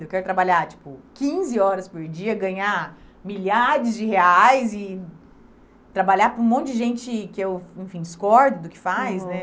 Eu quero trabalhar, tipo, quinze horas por dia, ganhar milhares de reais e trabalhar para um monte de gente que eu, enfim, discordo do que faz, né? Uhum